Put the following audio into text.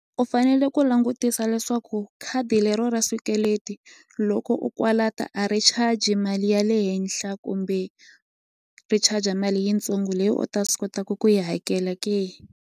U fanele ku langutisa leswaku khadi lero ra swikweleti loko u a ri charge mali ya le henhla kumbe ri charger mali yitsongo leyi u ta swi kotaku ku yi hakela ke.